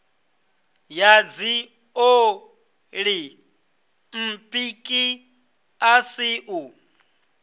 ya dziolimpiki a si u